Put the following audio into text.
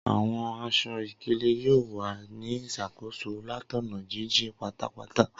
Awọn aṣọ-ikele yoo wa ni iṣakoso latọna jijin patapata.